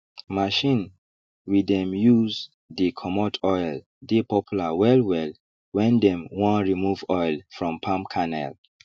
machine we dem use dey comot oil dey popular wellwell wen dem wan remove oil from palm kernel